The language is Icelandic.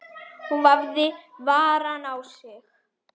Hún hafði varann á sér.